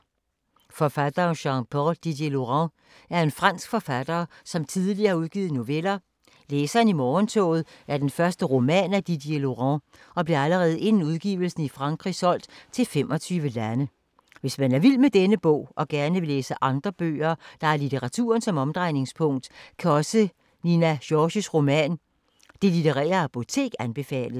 Forfatteren Jean-Paul Didierlaurent er en fransk forfatter, som tidligere har udgivet noveller. Læseren i morgentoget er den første roman af Didierlaurent og blev allerede inden udgivelsen i Frankrig solgt til 25 lande. Hvis man er vild med denne bog og gerne vil læse andre bøger, der har litteraturen som omdrejningspunkt, kan også Nina Georges roman Det litterære apotek anbefales.